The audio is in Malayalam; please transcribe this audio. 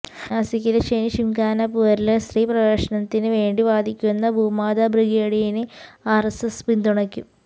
നാസിക്കിലെ ശനിശിംഗ്നാപൂരില് സ്ത്രീ പ്രവേശനത്തിന് വേണ്ടി വാദിക്കുന്ന ഭൂമാതാബ്രിഗേഡിനെ ആര്എസ്എസ് പിന്തുണക്കും